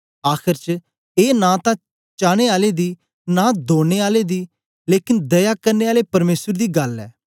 आखर च ए नां तां चाने आले दी नां दौड़ने आले दी लेकन दया करने आले परमेसर दी गल्ल ऐ